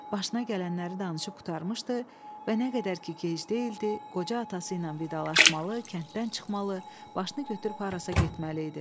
Başına gələnləri danışıb qurtarmışdı və nə qədər ki, gej deyildi, qoca atası ilə vidalaşmalı, kənddən çıxmalı, başını götürüb harasa getməli idi.